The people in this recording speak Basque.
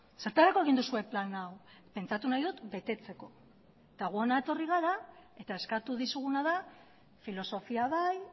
zertarako egin duzue plan hau pentsatu nahi dut betetzeko eta gu hona etorri gara eta eskatu dizuguna da filosofia bai